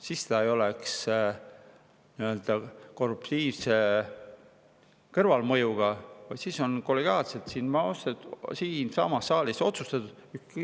Siis see ei oleks nii-öelda korruptiivse kõrvalmõjuga, vaid oleks kollegiaalselt siinsamas saalis otsustatud.